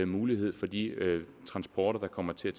mulighed for de transporter der kommer til